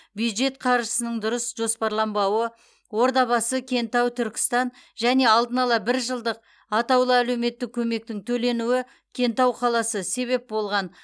бюджет қаржысының дұрыс жоспарланбауы ордабасы кентау түркістан және алдын ала бір жылдық атаулы әлеуметтік көмектің төленуі кентау қаласы себеп болған